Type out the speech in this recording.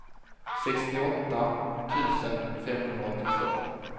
sextioåtta tusen femhundraåttiotvå